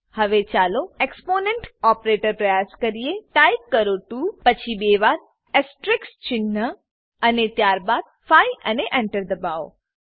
હવે ચાલો exponent exponent operator પ્રયાસ કરીએ ટાઈપ કરો 2 પછી બે વાર અસ્ટેરિસ્ક ચિન્હ અને ત્યારબાદ 5 અને Enter દબાવો